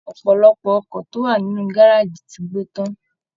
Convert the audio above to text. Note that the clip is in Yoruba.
Ọpọlọpọ ọkọ̀ tó wà nínú gárájí ti gbo tan.